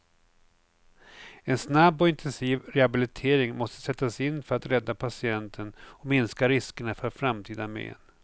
En snabb och intensiv rehabilitering måste sättas in för att rädda patienten och minska riskerna för framtida men.